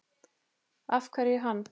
Af hverju hann?